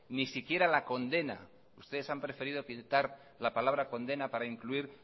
ni siquiera la condena ustedes han preferido quitar la palabra condena para incluir